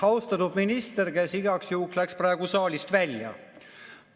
Austatud minister, kes igaks juhuks läks praegu saalist välja!